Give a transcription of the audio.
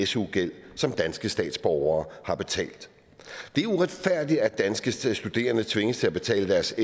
su gæld som danske statsborgere har betalt det er uretfærdigt at danske studerende tvinges til at betale deres